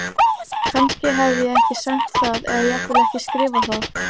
Kannski hafði ég ekki sent það eða jafnvel ekki skrifað það.